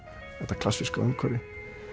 þetta klassíska umhverfi